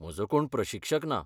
म्हजो कोण प्रशिक्षक ना.